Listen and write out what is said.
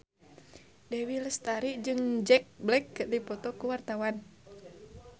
Dewi Lestari jeung Jack Black keur dipoto ku wartawan